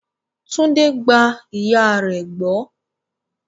Tunde gba ìyà rẹ̀ gbọ́.